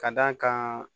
Ka d'a kan